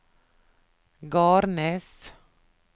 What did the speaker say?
Garnes